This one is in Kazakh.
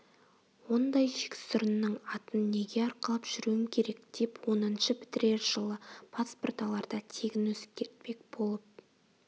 ондай жексұрынның атын неге арқалап жүруім керек деп оныншы бітірер жылы паспорт аларда тегін өзгертпек болып